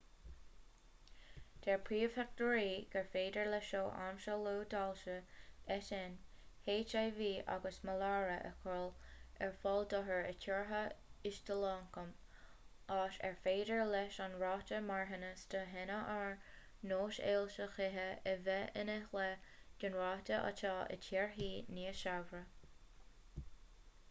deir príomhthaighdeoirí gur féidir le seo aimsiú luath d'ailse eitinn hiv agus maláire a chur ar fáil d'othair i dtíortha ísealioncaim áit ar féidir leis an ráta marthanais do thinnis ar nós ailse chíche a bheith ina leath den ráta atá i dtíortha níos saibhre